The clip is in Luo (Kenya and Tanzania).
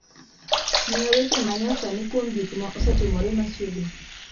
miya weche ma nyasani kuom gik ma osetimore machiegni